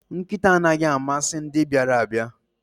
Nkịta anaghị amasị ndị bịara abịa